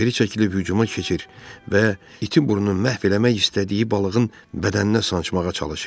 O geri çəkilib hücuma keçir və iti burnunu məhv eləmək istədiyi balığın bədəninə sancmağa çalışırdı.